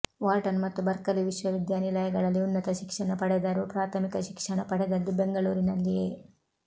Wharton ಮತ್ತು Berkeley ವಿಶ್ವವಿದ್ಯಾನಿಲಯಗಳಲ್ಲಿ ಉನ್ನತ ಶಿಕ್ಷಣ ಪಡೆದರೂ ಪ್ರಾಥಮಿಕ ಶಿಕ್ಷಣ ಪಡೆದದ್ದು ಬೆಂಗಳೂರಿನಲ್ಲಿಯೇ